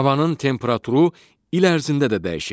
Havanın temperaturu il ərzində də dəyişir.